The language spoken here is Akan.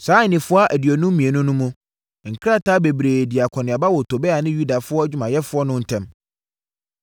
Saa nnafua aduonum mmienu no mu, nkrataa bebree dii akɔneaba wɔ Tobia ne Yuda adwumayɛfoɔ no ntam.